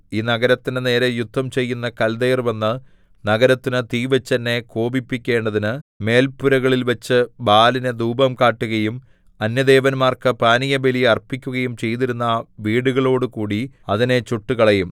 ഈ നഗരത്തിന്റെ നേരെ യുദ്ധം ചെയ്യുന്ന കൽദയർ വന്ന് നഗരത്തിനു തീ വെച്ചു എന്നെ കോപിപ്പിക്കേണ്ടതിന് മേല്പുരകളിൽവച്ച് ബാലിനു ധൂപം കാട്ടുകയും അന്യദേവന്മാർക്കു പാനീയബലി അർപ്പിക്കുകയും ചെയ്തിരുന്ന വീടുകളോടുകൂടി അതിനെ ചുട്ടുകളയും